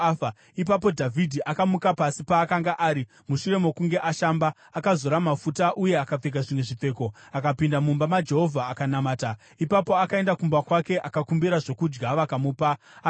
Ipapo Dhavhidhi akamuka pasi paakanga ari. Mushure mokunge ashamba, akazora mafuta, uye akapfeka zvimwe zvipfeko, akapinda mumba maJehovha akanamata. Ipapo akaenda kumba kwake, akakumbira zvokudya vakamupa, akadya.